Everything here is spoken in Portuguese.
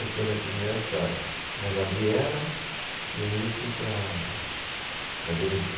Eu tinha nascido nessa na Gabriela, e aí eu fui para a, para a Benedito.